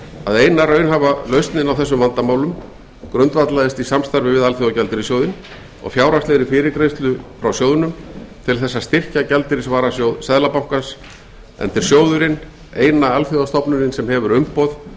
að eina raunhæfa lausnin á þessum vandamálum grundvallaðist á samstarfi við alþjóðagjaldeyrissjóðinn og fjárhagslegri fyrirgreiðslu frá sjóðnum til þess að styrkja gjaldeyrisvarasjóð seðlabankans enda er sjóðurinn eina alþjóðastofnunin sem hefur umboð